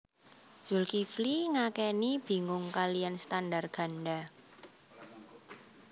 Zulkifli ngakeni bingung kaliyan standar ganda